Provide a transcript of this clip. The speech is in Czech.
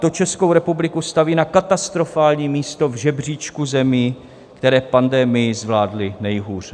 To Českou republiku staví na katastrofální místo v žebříčku zemí, které pandemii zvládly nejhůře.